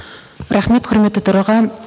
рахмет құрметті төраға